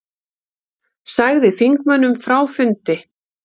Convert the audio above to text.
Sagði þingmönnum frá fundi